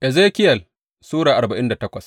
Ezekiyel Sura arba'in da takwas